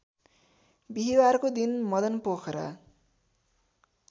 बिहीबारको दिन मदनपोखरा